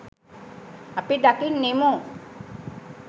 අපි දකින්නෙමු.